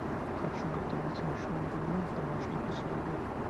хочу готовить овощной бульон в домашних условиях